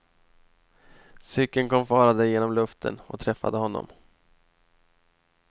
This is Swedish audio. Cykeln kom farande genom luften och träffade honom.